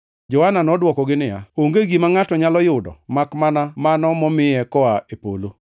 Johana nodwokogi niya, “Onge gima ngʼato nyalo yudo makmana mano momiye koa e polo.